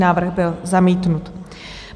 Návrh byl zamítnut.